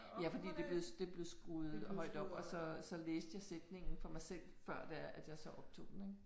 Ja fordi det blev det blev skruet højt op og så så læste jeg sætningen for mig selv før det er at jeg så optog den ik